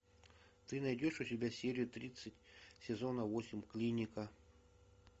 ты найдешь у себя серию тридцать сезона восемь клиника